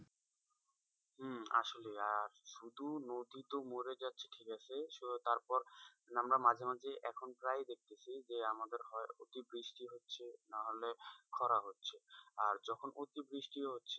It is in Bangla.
হম আসলেই আর শুধু নদী তো মরে যাচ্ছে ঠিক আছে তারপর আমরা মাঝে মাঝে এখন প্রায় দেখেছি যে আমাদের হয় অতিবৃষ্টি হচ্ছে নাহলে খরা হচ্ছে আর যখন অতিবৃষ্টিও হচ্ছে।